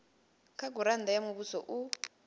kha gurannda ya muvhuso u